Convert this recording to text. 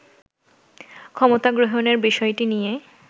ক্ষমতা গ্রহণের বিষয়টি নিয়ে